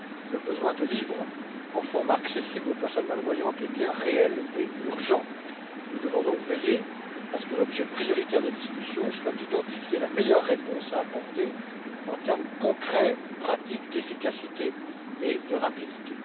Le besoin de livres en format accessible aux personnes malvoyantes est bien réel et urgent. Nous devons donc veiller à ce que l'objet prioritaire des discussions soit d'identifier la meilleure réponse à apporter en termes concrets, pratiques, d'efficacité et de rapidité.